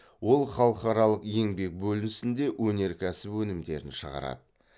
ол халықаралық еңбек бөлінісінде өнеркәсіп өнімдерін шығарады